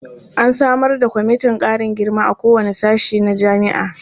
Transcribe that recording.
An samar da kwamitin ƙarin girma a kowane sashe na jami'a.